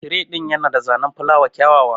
Tire din Yana da zanen filawa kyawawa